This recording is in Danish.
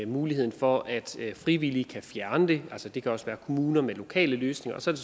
muligheden for at frivillige kan fjerne det det kan også være kommuner med lokale løsninger og så er